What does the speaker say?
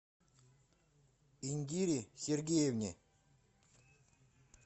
индире сергеевне